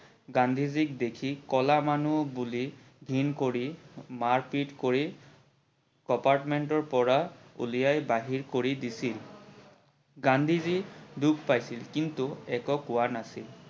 গান্ধীজিক দেখি কলা মানুহ বুলি ঘিন কৰি মাৰ পিত কৰি compartment ৰ পৰা উলিয়াই বাহিৰ কৰি দিছিল ।গান্ধীজি দুখ পাইছিল কিন্তু একো কোৱা নাছিল